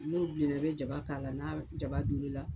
N'o bilenna i bɛ jaba k'a la n'a jaba doolen la.